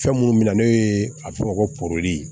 Fɛn minnu bɛ na n'o ye a bɛ fɔ o ma ko